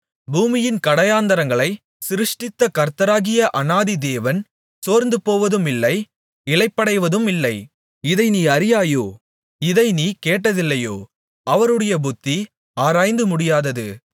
பூமியின் கடையாந்தரங்களைச் சிருஷ்டித்த கர்த்தராகிய அநாதி தேவன் சோர்ந்துபோவதுமில்லை இளைப்படைவதுமில்லை இதை நீ அறியாயோ இதை நீ கேட்டதில்லையோ அவருடைய புத்தி ஆராய்ந்துமுடியாதது